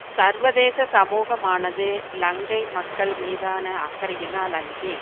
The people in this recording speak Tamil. சர்வதேச சமூகமானது இலங்கை மக்கள் மீதான அக்கறையினால் அன்றி